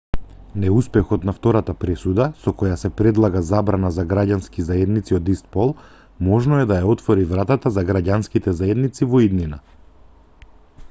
неуспехот на втората пресуда со која се предлага забрана за граѓански заедници од ист пол можно е да ја отвори вратата за граѓанските заедници во иднина